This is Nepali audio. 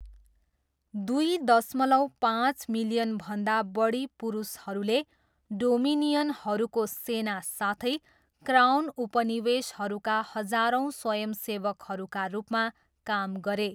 दुई दशमलव पाँच मिलियनभन्दा बढी पुरुषहरूले डोमिनियनहरूको सेना साथै क्राउन उपनिवेशहरूका हजारौँ स्वयंसेवकहरूका रूपमा काम गरे।